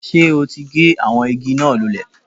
Sé o ti gé àwọn igi náà lulè?